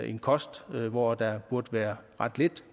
en kost hvor der burde være ret lidt